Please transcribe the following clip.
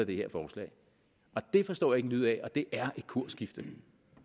det her forslag det forstår en lyd af og det er et kursskifte